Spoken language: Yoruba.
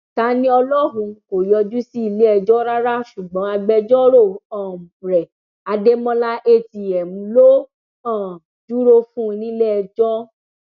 taniọlọhun kò yọjú sí iléẹjọ rárá ṣùgbọn agbẹjọrò um rẹ adémọlá atm ló um dúró fún un níléẹjọ